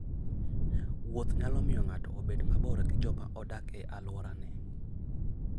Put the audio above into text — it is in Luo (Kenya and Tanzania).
Wuoth nyalo miyo ng'ato obed mabor gi joma odak e alworane.